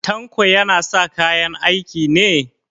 Tanko yana sa kayan aiki ne?